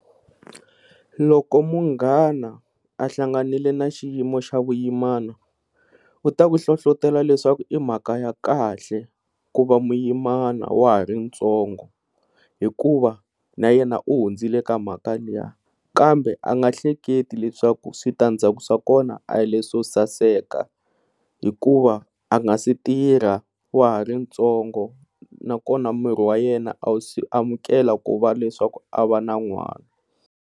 Loko munghana hlanganele na xiyimo xa vuyimana u ta ku hlohlotelo leswaku i mhaka ya kahle ku va muyimana wa ha ri ntsongo, hikuva na yena u hundzile ka mhaka liya kambe a nga hleketi leswaku switandzhaku swa kona a hi leswi swo saseka hikuva a nga si tirha wa ha ri ntsongo na kona miri wa yena a wu si amukela ku va leswaku a va na n'wana.